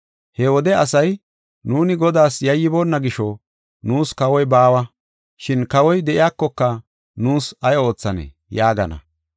He wode asay, “Nuuni Godaas yayyiboonna gisho, nuus kawoy baawa. Shin kawoy de7iyakoka nuus ay oothanee?” yaagana.